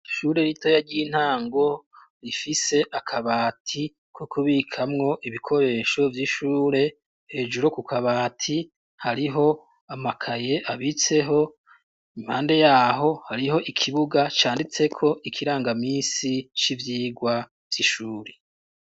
Ishure ritoya ry'intango rifise akabati ko kubikamwo ibikoresho vy'ishure, hejuru ku kabati hariho amakaye abitseho impande yaho hariho ikibuga canditseko ikirangaminsi c'ivyigwa vyishuri.